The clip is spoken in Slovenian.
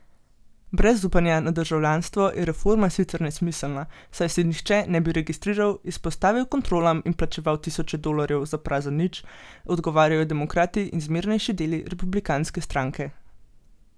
Brez upanja na državljanstvo je reforma sicer nesmiselna, saj se nihče ne bi registriral, izpostavil kontrolam in plačeval tisoče dolarjev za prazen nič, odgovarjajo demokrati in zmernejši deli republikanske stranke.